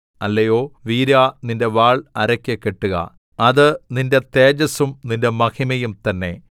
അല്ലയോ വീരാ നിന്റെ വാൾ അരയ്ക്ക് കെട്ടുക അത് നിന്റെ തേജസ്സും നിന്റെ മഹിമയും തന്നെ